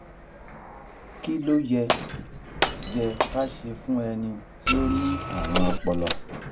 kilo ye ye ka se fun eni ti o ni arun opolo?